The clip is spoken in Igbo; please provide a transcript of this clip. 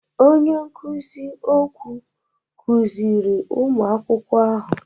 Onye nkuzi okwụ kụziri ụmụ akwụkwọ ahụ.